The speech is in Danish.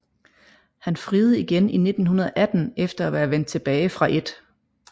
Han friede igen i 1918 efter at være vendt tilbage fra 1